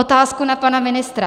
Otázku na pana ministra.